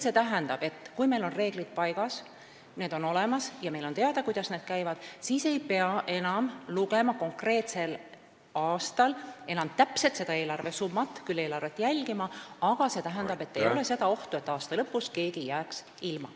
See tähendab, et kui meil on reeglid paigas ja on teada, kuidas need käivad, siis ei pea enam lugema konkreetsel aastal täpselt kindlat eelarvesummat – peab küll eelarvet jälgima, aga ei ole seda ohtu, et aasta lõpus keegi jääks ilma.